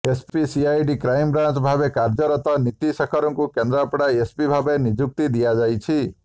SP CID crime branch ଭାବେ କାର୍ୟ୍ୟରତ ନୀତି ଶେଖରଙ୍କୁ କେନ୍ଦ୍ରାପଡ଼ା ଏସପି ଭାବେ ନିଯୁକ୍ତି ଦିଆଯାଇଛି